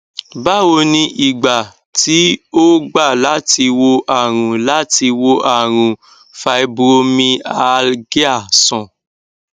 báwo ni ìgbà tí ó gba láti wò àrùn láti wò àrùn fibromyalgia sàn